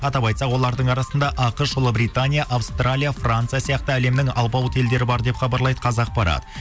атап айтсақ олардың арасында ақш ұлыбритания австралия франция сияқты әлемнің алпауыт елдері бар деп хабарлайды қазақпарат